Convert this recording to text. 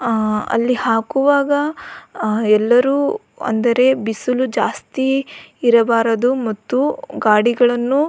ಆ ಅಲ್ಲಿ ಹಾಕುವಾಗ ಎಲ್ಲರು ಅಂದರೆ ಬಿಸಿಲು ಜಾಸ್ತಿ ಇರಬಾರದು ಮತ್ತು ಗಾಡಿಗಳನ್ನು --